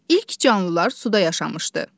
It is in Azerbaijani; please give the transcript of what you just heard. İlk canlılar suda yaşamışdı.